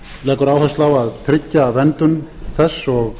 leggur áherslu á að tryggja verndun þess og